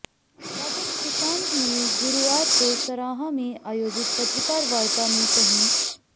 राजन सुशांत ने गुरुवार को सराहां में आयोजित पत्रकार वार्ता में कही